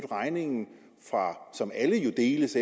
regningen som alle jo deles